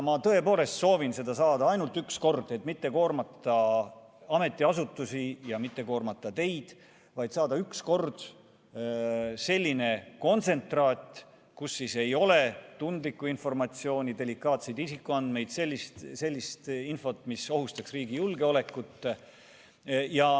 Ma tõepoolest soovin seda saada ainult üks kord, et mitte koormata ametiasutusi ja mitte koormata teid, vaid saada üks kord selline kontsentraat, kus ei ole tundlikku informatsiooni, delikaatseid isikuandmeid, sellist infot, mis ohustaks riigi julgeolekut.